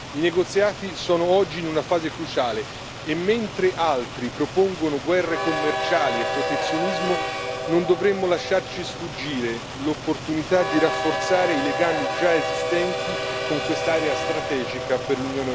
I negoziati sono oggi in una fase cruciale, e mentre altri propongono guerre commerciali e protezionismo, non dovremmo lasciarci sfuggire l'opportunità di rafforzare i legami già esistenti con quest'area strategica per l'Unione europea.